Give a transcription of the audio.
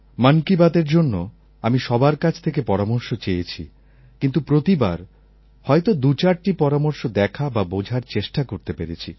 মন কি বাতএর জন্য আমি সবার কাছ থেকে পরামর্শ চেয়েছি কিন্তু প্রতিবার হয়ত দুচারটি পরামর্শ দেখা বা বোঝার চেষ্টা করতে পেরেছি